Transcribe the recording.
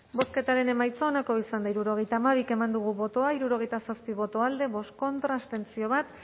bozketaren emaitza onako izan da hirurogeita hamabi eman dugu bozka hirurogeita zazpi boto alde bost contra bat abstentzio